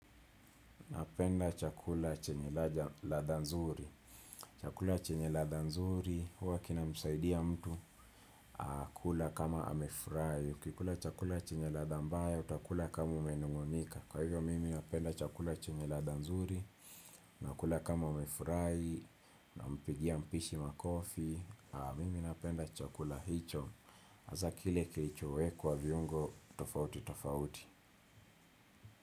Napenda chakula chenye ladha nzuri. Chakula chenye ladha nzuri, huwa kinamsaidia mtu. Kula kama amefurahi. Kikula chakula chenye ladha mbaya, utakula kama umenung'unika. Kwa hivyo, mimi napenda chakula chenye ladha nzuri. Unakula kama umefurahi. Nampigia mpishi makofi. Mimi napenda chakula hicho. Hasa kile kiichowekwa viungo, tofauti tofauti.